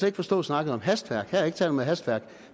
ikke forstå snakken om hastværk her er der ikke tale om hastværk